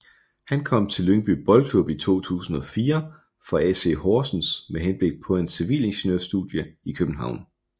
Han kom til Lyngby Boldklub i 2004 fra AC Horsens med henblik på hans civilingeniørstudie i København